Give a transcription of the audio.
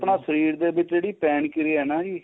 ਆਪਣਾ ਸਰੀਰ ਦੇ ਵਿੱਚ ਜਿਹੜੀ ਪੇਨ ਕਿਰਿਆ ਏ ਨਾ ਜੀ